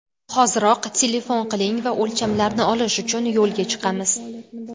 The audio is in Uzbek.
Hoziroq telefon qiling va o‘lchamlarni olish uchun yo‘lga chiqamiz.